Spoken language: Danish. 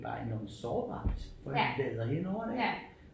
Var sårbart fordi vi vader henover det ik